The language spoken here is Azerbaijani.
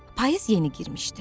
Payız yeni girmişdi.